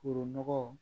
Foro nɔgɔ